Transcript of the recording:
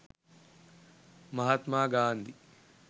mahathma gandi